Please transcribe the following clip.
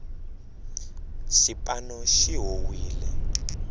xipano xi howile